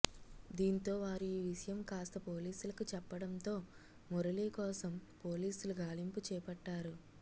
దీంతో వారు ఈవిషయం కాస్త పోలీసులకు చెప్పడంతో మురళీ కోసం పోలీసులు గాలింపు చేపట్టారు